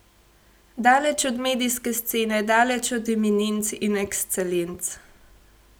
Daleč od medijske scene, daleč od eminenc in ekscelenc.